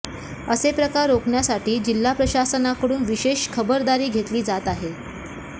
असे प्रकार रोखण्यासाठी जिल्हा प्रशासनाकडून विशेष खबरदारी घेतली जात आहे